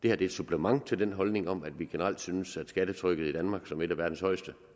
er et supplement til den holdning om at vi generelt synes at skattetrykket i danmark som et af verdens højeste